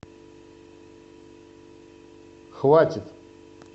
хватит